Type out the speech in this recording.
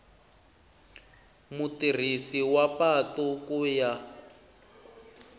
mutirhisi wa patu ku ya